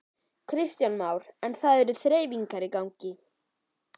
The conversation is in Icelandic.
Kristján Már: En það eru þreifingar í gangi?